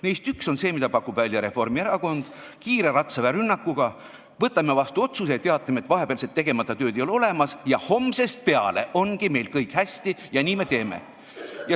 Neist üks on see, mida pakub välja Reformierakond: kiire ratsaväerünnakuga võtame vastu otsuse ja teatame, et vahepealset tegemata tööd ei ole olemas, homsest peale ongi meil kõik hästi ja nii me teeme.